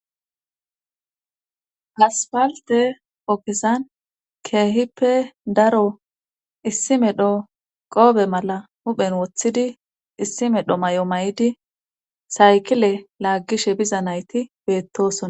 Haspalte ogezani keehippe daro issi meeshdho qoofe malla huphphen woththidi issi meedhdho may'o may'idi saykile laaggishshe biza nayti beettosona